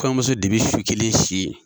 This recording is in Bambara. Kɔɲɔnmuso de be su kelen si yen.